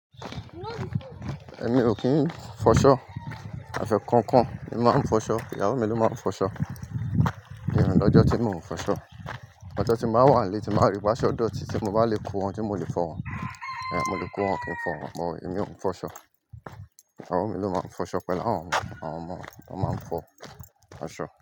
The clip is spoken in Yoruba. Èmi ò kí ń fọṣọ. Àfẹ́ kan kan ni máa ń fọṣọ. Ìyáwo mi ló máa ń fọṣọ. Mio lọ́jọ́ tí mò ń fọṣọ. Ọjọ́ tí máa wà nílé, tí máa rí pe aṣo ọ̀dọ̀ tí tí mo bá lè kó eon tí mo lè fọ wọ́n, eh, mo lè kó eo kí n fọ wọ́n, but èmi ò ń fọṣọ. Ìyáwo mi ló máa ń fọṣọ pẹ̀lú awọ́n, awọ́n omo máa ń fọ fọṣọ.